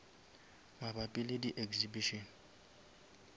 mabapi le di exhibition